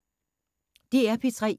DR P3